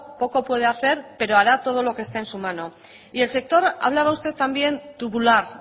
poco puede hacer pero hará todo lo que esté en su mano y el sector hablaba usted también tubular